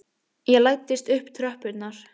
Ég læddist upp tröppurnar.